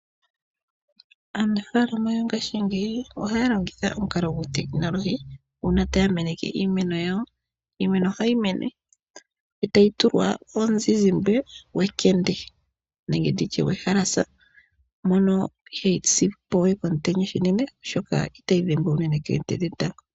Aanafalama yongaashingeyinohaya longitha omukalo guutekinolohi uuna taya meneke iimeno yawo. Iimeno ohayi mene etayi tulwa omuzizimbe gwekende nenge nditye gwehalasa mono ihaayi si po we komutenya uunene, oshoka itayi dhengwa uunene koonte dhetango.